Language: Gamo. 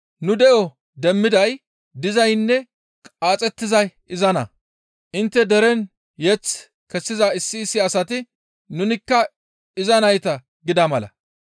Nu de7o demmiday, dizaynne qaaxettizay izanna; intte deren yeth kessiza issi issi asati, ‹Nunikka iza nayta› gida mala.